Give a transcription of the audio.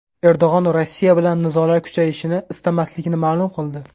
Erdo‘g‘on Rossiya bilan nizolar kuchayishini istamasligini ma’lum qildi.